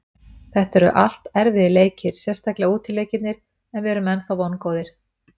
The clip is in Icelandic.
Þetta eru allt erfiðir leikir, sérstaklega útileikirnir en við erum ennþá vongóðir.